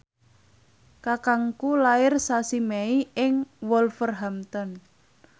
kakangku lair sasi Mei ing Wolverhampton